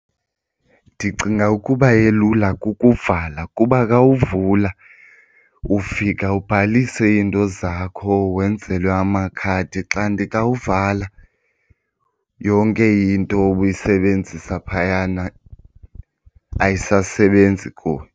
Ndicinga ukuba elula kukuvala kuba xa uvula ufika ubhalise iinto zakho wenzelwe amakhadi kanti xa wuvala yonke into obuyisebenzisa phayana ayisasebenzi kuwe.